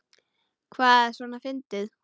Hvað er svona fyndið?